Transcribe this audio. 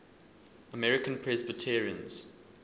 american presbyterians